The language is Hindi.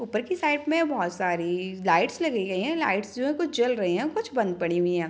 ऊपर की साइड में बहुत सारी लाइट्स लगी गई है | लाइट्स जो है कुछ जल रही है कुछ बंद पड़ी हुई है ।